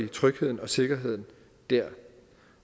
trygheden og sikkerheden dér